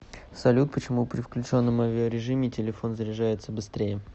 салют почему при включенном авиарежиме телефон заряжается быстрее